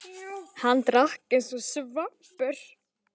Hann drakk eins og svampur.